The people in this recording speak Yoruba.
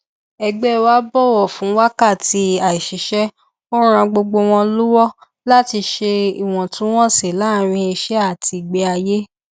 iléiṣẹ wa rọ wá um láti lo ìgò um tí a lè tún lò kó dín amúlò kù